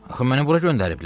Axı məni bura göndəriblər?